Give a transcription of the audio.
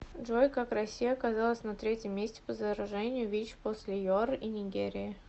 джой как россия оказалась на третьем месте по заражению вич после юар и нигерии